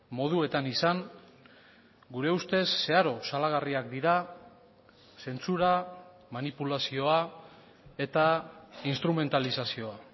moduetan izan gure ustez zeharo salagarriak dira zentsura manipulazioa eta instrumentalizazioa